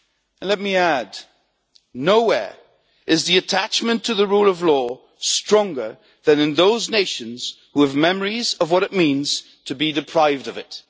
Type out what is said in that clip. And, let me add, nowhere is attachment to the rule of law stronger than in those nations which have memories of what it means to be deprived of it.